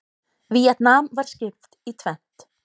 Víetnam var skipt í tvennt.